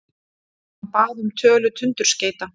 Hann bað um tölu tundurskeyta.